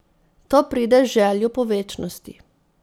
To pride z željo po večnosti.